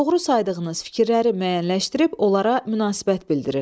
Doğru saydığınız fikirləri müəyyənləşdirib onlara münasibət bildirin.